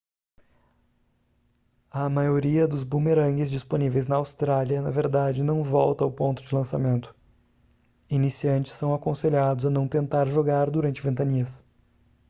a maioria dos bumerangues disponíveis na austrália na verdade não volta ao ponto de lançamento iniciantes são aconselhados a não tentar jogar durante ventanias